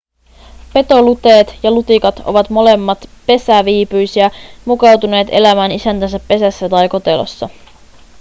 petoluteet ja lutikat ovat molemmat pesäviipyisiä mukautuneet elämään isäntänsä pesässä tai kotelossa